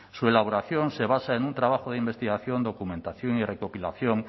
su elaboración se basa en un trabajo de investigación documentación y recopilación